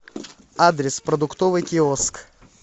адрес продуктовый киоск